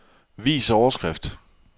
Vis overskrift.